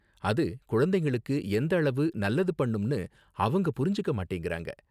அது குழந்தைங்களுக்கு எந்த அளவு நல்லது பண்ணும்னு அவங்க புரிஞ்சிக்க மாட்டேங்கிறாங்க.